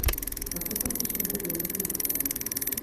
Kako so prišli do te ugotovitve?